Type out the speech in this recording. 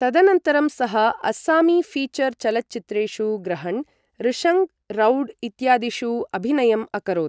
तदनन्तरं सः अस्सामी ऴीचर् चलच्चित्रेषु ग्रहण्, ऋषङग्, रौड् इत्यादिषु अभिनयम् अकरोत्।